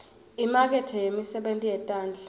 imakethe yemisebenti yetandla